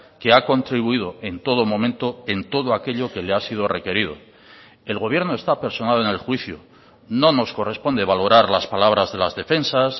que ha contribuido en todo momento en todo aquello que le ha sido requerido el gobierno está personado en el juicio no nos corresponde valorar las palabras de las defensas